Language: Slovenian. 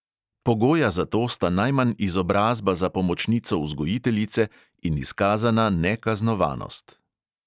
Pogoja za to sta najmanj izobrazba za pomočnico vzgojiteljice in izkazana nekaznovanost.